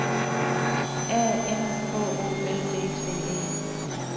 A N H O L D T E